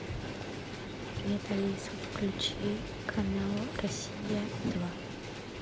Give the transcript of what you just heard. привет алиса включи канал россия два